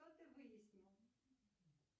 что ты выяснил